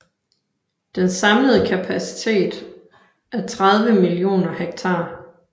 Den samlede kapacitet er 30 millioner m3